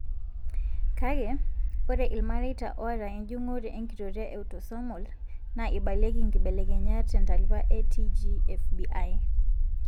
Kake, ore ilmareita oata enjung'ore enkitoria eautosomal naa eibalieki nkibelekenyat tentalipa eTGFBI.